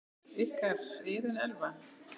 Ykkar, Iðunn Elfa.